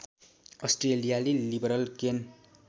अस्ट्रेलियाली लिबरल केन